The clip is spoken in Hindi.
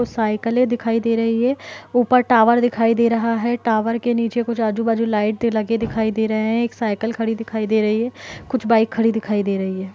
और साइकिले दिखाई दे रही है ऊपर टावर दिखाई दे रहा है। टावर के नीचे कुछ आजू-बाजू लाइट लगे दिखाई दे रहे है एक साइकिल खड़ी दिखाई दे रही है कुछ बाइक खड़ी दिखाई दे रही है।